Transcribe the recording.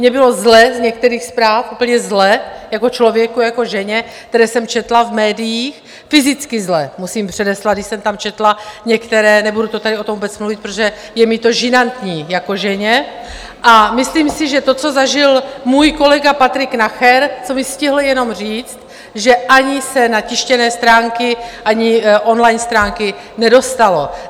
Mně bylo zle z některých zpráv, úplně zle jako člověku, jako ženě, které jsem četla v médiích, fyzicky zle, musím předeslat, když jsem tam četla některé - nebudu tady o tom vůbec mluvit, protože je mi to žinantní jako ženě, a myslím si, že to, co zažil můj kolega Patrik Nacher, co mi stihl jenom říct, že ani se na tištěné stránky ani on-line stránky nedostalo.